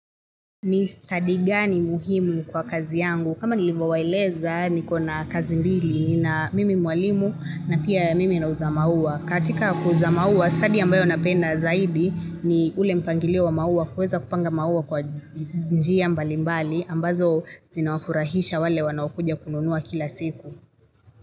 Ni stadi gani muhimu kwa kazi yangu? Kama nilivyowaeleza niko na kazi mbili, ni na mimi mwalimu na pia mimi nauza maua. Katika kuuza maua, stadi ambayo napenda zaidi ni ule mpangiliwa wa maua kuweza kupanga maua kwa njia mbali mbali, ambazo zina wafurahisha wale wanaowakuja kununua kila siku.